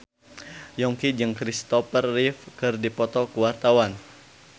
Yongki jeung Kristopher Reeve keur dipoto ku wartawan